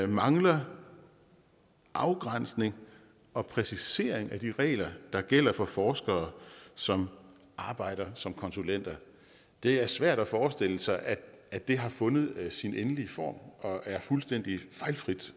mangler afgrænsning og præcisering af de regler der gælder for forskere som arbejder som konsulenter det er svært at forestille sig at at det har fundet sin endelige form og er fuldstændig fejlfrit